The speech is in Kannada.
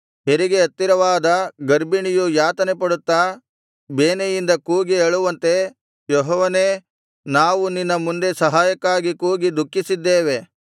ಹೆರಿಗೆ ಹತ್ತಿರವಾದ ಗರ್ಭಿಣಿಯು ಯಾತನೆಪಡುತ್ತಾ ಬೇನೆಯಿಂದ ಕೂಗಿ ಅಳುವಂತೆ ಯೆಹೋವನೇ ನಾವು ನಿನ್ನ ಮುಂದೆ ಸಹಾಯಕ್ಕಾಗಿ ಕೂಗಿ ದುಃಖಿಸಿದ್ದೇವೆ